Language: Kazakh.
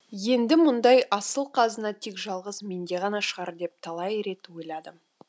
енді мұндай асыл қазына тек жалғыз менде ғана шығар деп талай рет ойладым